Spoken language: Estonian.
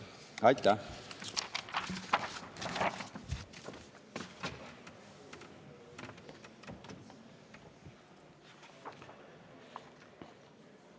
Aitäh!